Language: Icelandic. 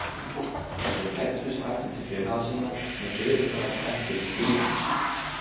Þeir læddust aftur til félaga sinna, sem biðu þeirra spenntir í fjörunni.